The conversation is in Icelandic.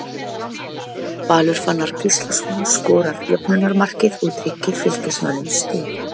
Valur Fannar Gíslason skorar jöfnunarmarkið og tryggir Fylkismönnum stig.